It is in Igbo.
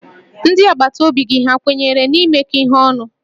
Ndị agbataobi gị ha kwenyere n'imekọ ihe ọnụ?